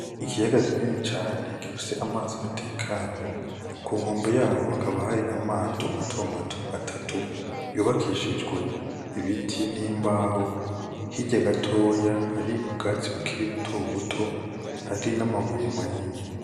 Ikiyaga kinini cane gifise amazi atekanye, kunkombe hari amato mato mato atatu y'ubakishijwe ibiti n'imbaho hirya gatoya hari ubwatsi bukiri buto buto hari n'amabuye manini.